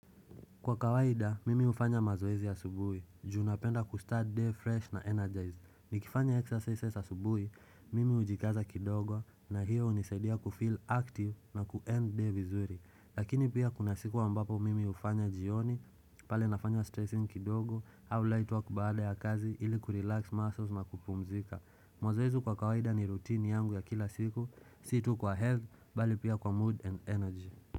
Kwa kawaida, mimi hufanya mazoezi ya asubuhi, juu napenda kustart day fresh na energize. Nikifanya exercises asubuhi, mimi hujikaza kidogo na hiyo hunisaidia kufeel active na kuend day vizuri. Lakini pia kuna siku wa ambapo mimi hufanya jioni, pale nafanya stressing kidogo, au ua light work baada ya kazi ili kurelax muscles na kupumzika. Mazoezi kwa kawaida ni routine yangu ya kila siku, si tu kwa health, bali pia kwa mood and energy.